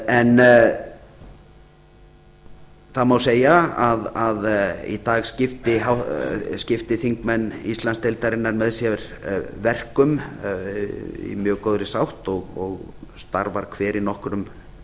en það má segja að í dag skipti þingmenn íslandsdeildarinnar með sér verkum í mjög góðri sátt og starfar hver í nokkrum